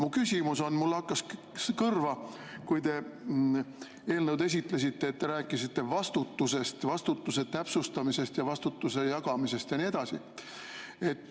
Mu küsimus on selle kohta, et mulle hakkas kõrva, kui te eelnõu esitasite, et siis te rääkisite vastutusest, vastutuse täpsustamisest, vastutuse jagamisest ja nii edasi.